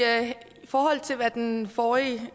forhold til hvad den forrige